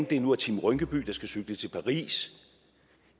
det nu er team rynkeby der skal cykle til paris